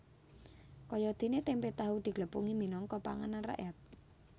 Kayadéné témpé tahu diglepungi minangka panganan rakyat